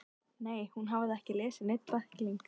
Nei, hún hafði ekki lesið neinn bækling.